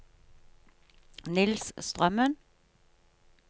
Niels Strømmen